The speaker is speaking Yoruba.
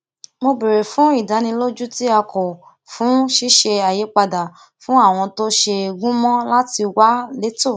mo béèrè fún ìdánilójú tí a kọ fún ṣíṣe àyípadà àwọn ohun tó ṣe gúnmọ láti wà létò